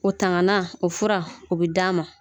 O tangana o fura o bi d'a ma